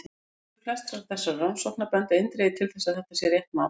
Niðurstöður flestra þessara rannsókna benda eindregið til að þetta sé rétt mat.